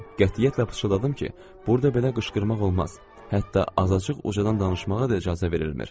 Qətiyyətlə pıçıldadım ki, burda belə qışqırmaq olmaz, hətta azacıq ucadan danışmağa da icazə verilmir.